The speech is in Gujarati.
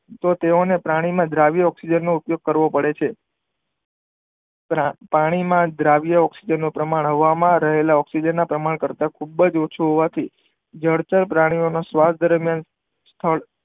તો તેઓ ને પ્રાણી માં દ્રાવ્ય ઓકઝીજન નો ઉપયોગ કરવો પડે છે પાણી માં દ્રાવ્ય ઓકઝીજન નું પ્રમાણ હવા માં રહેલા ઓકઝીજન ના પ્રમાણ કરતા ખુબજ ઓછું હોવાથી જળચરપરાની ઓ શ્વાસ દરમિયાન થાય